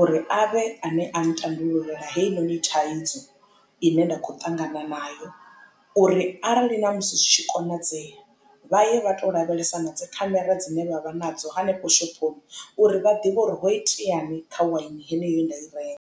uri a vhe a ne a ntandulula heinoni thaidzo ine nda khou ṱangana nayo uri arali na musi zwi tshi konadzea vha ye vha to lavhelesa na dzi khamera dzine vha vha nadzo hanefho shophoni uri vha ḓivhe uri hoiteani kha waini heneyo ye nda i renga.